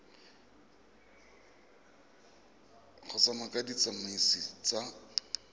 go ya ka ditsamaiso tsa